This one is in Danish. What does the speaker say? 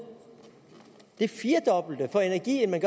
det firedobbelte for energi end man